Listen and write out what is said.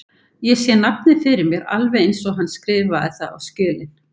Ég sé nafnið fyrir mér alveg eins og hann skrifaði það á skjölin.